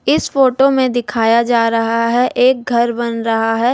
इस फोटो में दिखाया जा रहा है एक घर बन रहा है।